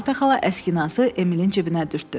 Marta xala əskinası Emilin cibinə dürtdü.